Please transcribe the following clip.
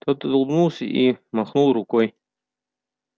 тот улыбнулся и махнул рукой